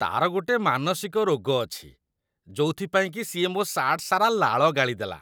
ତା'ର ଗୋଟେ ମାନସିକ ରୋଗ ଅଛି, ଯୋଉଥିପାଇଁକି ସିଏ ମୋ ସାର୍ଟ ସାରା ଲାଳ ଗାଳିଦେଲା ।